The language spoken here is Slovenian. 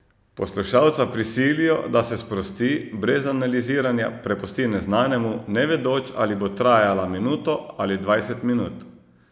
Poslušalca prisilijo, da se sprosti, brez analiziranja prepusti neznanemu, ne vedoč, ali bo trajala minuto ali dvajset minut.